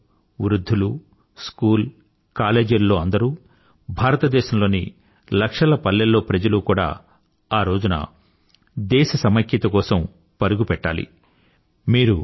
ప్రజలు అందరూ వృధ్ధులు స్కూల్ కాలేజీలలో అందరూ భారతదేశంలోని లక్షల పల్లెల్లో ప్రజలు కూడా ఆరోజున దేశ సమైక్యత కోసం పరుగుపెట్టాలి